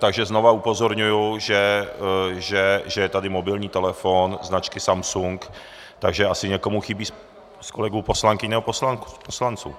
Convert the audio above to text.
Takže znovu upozorňuji, že je tady mobilní telefon značky Samsung, takže asi někomu chybí z kolegů poslankyň nebo poslanců.